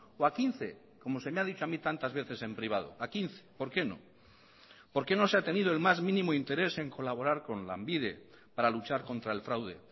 o a quince como se me ha dicho a mi tantas veces en privado a quince por qué no por qué no se ha tenido el más mínimo interés en colaborar con lanbide para luchar contra el fraude